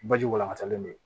Baji walankatalen don